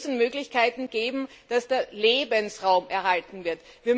Wir müssen Möglichkeiten geben, dass der Lebensraum erhalten wird.